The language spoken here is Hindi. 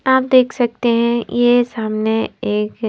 आप देख सकते हैं ये सामने एक--